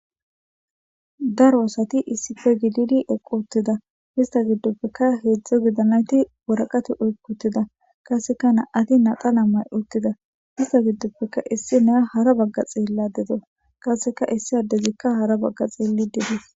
Daro asari issippe gidi eqiutida hesta gidoppeka heedzdza gidanayiti waroqate oyikutida qaseka nam'ati naxala maiutida hesa gidoppeka issiniy hara baga xelayidadeawusu qase esi addezikavhara baga xelidides.